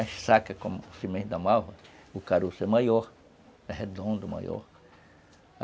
E a saca, como o cimento da malva, o caroço é maior, é redondo maior.